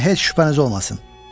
Bundan heç şübhəniz olmasın.